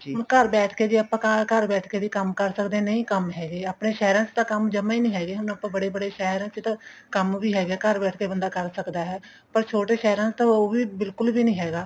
ਹੁਣ ਘਰ ਬੈਠ ਕੇ ਜੇ ਘਰ ਬੈਠ ਕੇ ਵੀ ਕੰਮ ਕਰ ਸਕਦੇ ਹਾਂ ਨਹੀਂ ਕੰਮ ਹੈਗੇ ਆਪਣੇ ਸਹਿਰਾਂ ਚ ਤਾਂ ਕੰਮ ਜਮਾ ਹੀ ਨਹੀਂ ਹੈਗੇ ਹੁਣ ਆਪਾਂ ਬੜੇ ਬੜੇ ਸਹਿਰਾਂ ਚ ਤਾਂ ਕੰਮ ਵੀ ਹੈਗਾ ਘਰ ਬੈਠ ਕੇ ਬੰਦਾ ਕਰ ਸਕਦਾ ਹੈ ਪਰ ਛੋਟੇ ਸਹਿਰਾਂ ਚ ਉਹ ਵੀ ਬਿਲਕੁਲ ਵੀ ਨੀ ਹੈਗਾ